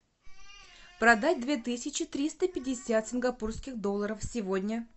продать две тысячи триста пятьдесят сингапурских долларов сегодня